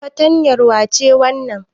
Fatrtanyar wace wannan?